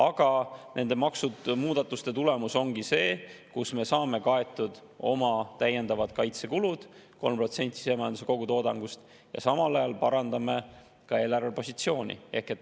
Aga nende maksumuudatuste tulemus ongi see, et me saame kaetud oma täiendavad kaitsekulud 3% sisemajanduse kogutoodangust ja samal ajal parandame ka eelarvepositsiooni.